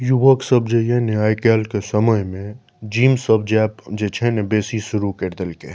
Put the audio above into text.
युवक सब जे ये ने आय काएल के समय में जिम सब जाएव बेसी शुरू कर देल के ये।